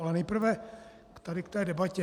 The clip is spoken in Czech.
Ale nejprve tady k té debatě.